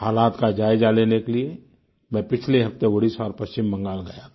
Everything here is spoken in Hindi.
हालात का जायजा लेने के लिए मैं पिछले हफ्ते ओडिशा और पश्चिम बंगाल गया था